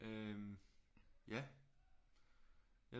Øh ja